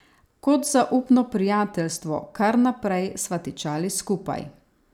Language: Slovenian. Kot zaupno prijateljstvo, kar naprej sva tičali skupaj.